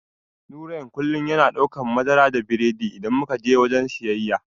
Nurain kullum yana daukan madara da biredi idan muka je wajen siyayya.